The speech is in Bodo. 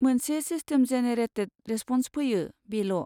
मोनसे सिस्टेम जेनेरेटेट रेसप'न्स फैयो, बेल'।